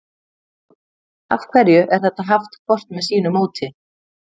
Af hverju er þetta haft hvort með sínu móti?